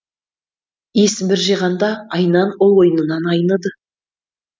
есін бір жиғанда айнан ол ойнынан айныды